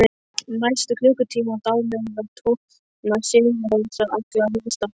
Næstu klukkutímana dáleiða tónar Sigurrósar alla viðstadda.